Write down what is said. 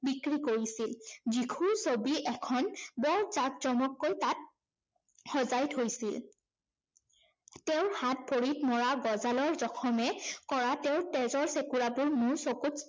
বিক্ৰী কৰিছিল। যীশুৰ ছবি এখন বৰ জাকজমককৈ তাত সজাই থৈছিল। তেওঁৰ হাত-ভৰিত মৰা গঁজালৰ জখমে কৰা তেজৰ চেকুৰাবোৰ মোৰ চকুত